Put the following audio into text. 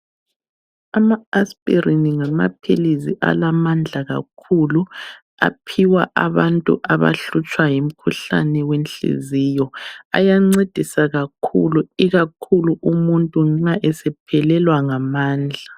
Ama aspirini ngamaphilisi alamandla kakhulu, aphiwa abantu abahlutshwa yimkhuhlane yenhliziyo, ayancedisa kakhulu ikakhulu umuntu nxa esephelelwa ngamandla.